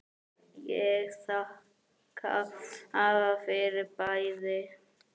Ég þakka afa fyrir bæði.